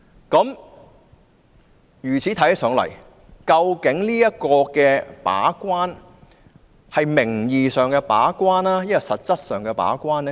究竟"把關"是名義上的把關或實質上的把關？